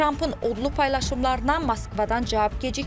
Trampın odlu paylaşımlarına Moskvadan cavab gecikməyib.